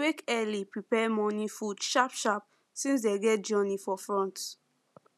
wake early prepare morning food sharp sharp since dem get long journey for front